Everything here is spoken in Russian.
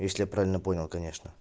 если я правильно понял конечно